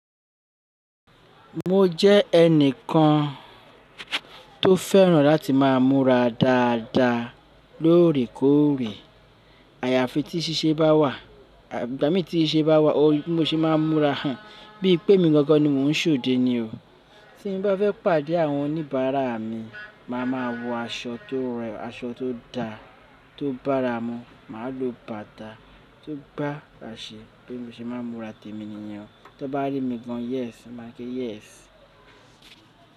Mo jẹ́ ẹni kan tó fẹ́ràn láti máa múra dáadáa lóòrèkóòrè. Àyàfi tí síse bá wà, ìgbà mí tí ṣise bá wà mo sì máa ń múra en. Bí pé emí gangan ni mò ń ṣòde ni o. Tí n bá fẹ́ pàdé àwọn oníbàárà mi, màá ma wọ aṣọ tó rẹwa, aṣọ tó da, tó bára mu, màá lo bàtà tó gba àṣẹ bí mo ṣe máa ń múra tẹ́mi nìyẹn. Tó n bá rí mi gan, yes, won màá se yes.